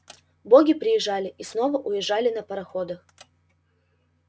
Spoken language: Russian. боги приезжали и снова уезжали на пароходах